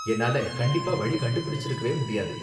என்னால கண்டிப்பா வழி கண்டுபிடிச்சிருக்கவே முடியாது.